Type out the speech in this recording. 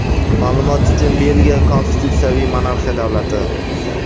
Ma’lumot uchun, Belgiya konstitutsiyaviy monarxiya davlati.